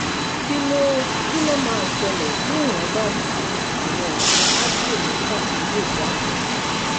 kí ló kí ló máa ṣẹlẹ̀ bí èèyàn bá tu àwọn oògùn advil mẹ́fà tó lò jáde?